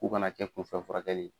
U ka na kɛ ko fɛn furakɛli.